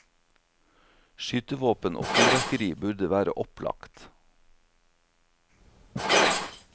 Skytevåpen og fyrverkeri burde være opplagt.